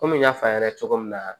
Komi n y'a f'a ɲɛna cogo min na